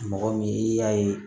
Mɔgɔ min i y'a ye